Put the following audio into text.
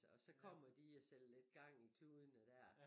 Og så kommer de og sætter lidt gang i kludene der